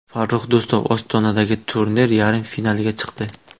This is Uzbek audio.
Farrux Do‘stov Ostonadagi turnir yarim finaliga chiqdi.